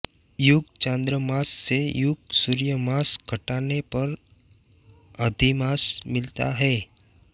युग चांद्रमास से युग सुर्य मास घटाने पर अधिमास मिलता है